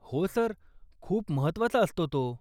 हो, सर. खूप महत्वाचा आसतो तो.